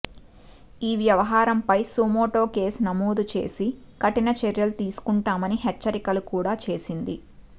ఈ వ్యవహారంపై suo motu case నమోదు చేసి కఠిన చర్యలు తీసుకుంటామని హెచ్చరికలు కూడా చేసింది